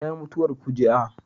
Ta yi mutuwar fuji'a